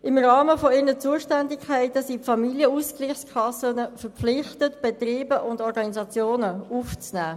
Im Rahmen ihrer Zuständigkeiten sind die Familienausgleichskassen verpflichtet, Betriebe und Organisationen aufzunehmen.